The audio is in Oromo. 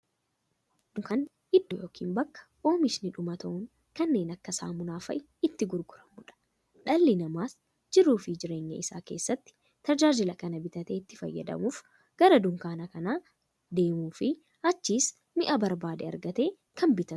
Dunkaanni iddoo yookiin bakka oomishni dhumatoon kanneen akka saamunaa faa'a itti gurguramuudha. Dhalli namaas jiruuf jireenya isaa keessatti, tajaajila kana bitee itti fayyadamuuf, gara dunkaanaa kan deemuufi achiis mi'a barbaade argatee kan bitatuudha.